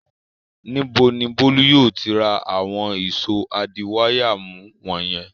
Níbo ni Bólú yóò ti rà àwọn ìṣó adiwáyàmú wọ̀nyẹn?